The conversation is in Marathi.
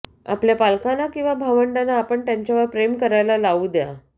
आपल्या पालकांना किंवा भावंडांना आपण त्यांच्यावर प्रेम करायला लावू द्या